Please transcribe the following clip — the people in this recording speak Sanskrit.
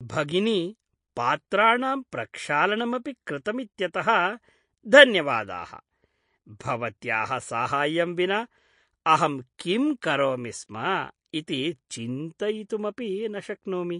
भगिनि पात्राणां प्रक्षालनमपि कृतमित्यतः धन्यवादाः। भवत्याः साहाय्यं विना अहं किं करोमि स्म इति चिन्तयितुमपि न शक्नोमि।